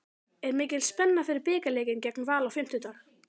Er mikil spenna fyrir bikarleikinn gegn Val á fimmtudag?